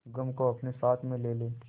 गम को अपने साथ में ले ले